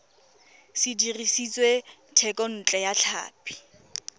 se dirisitswe thekontle ya tlhapi